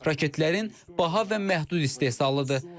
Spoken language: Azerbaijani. Raketlərin baha və məhdud istehsalıdır.